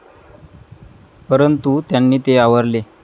परंतू त्यांनी ते आवरले.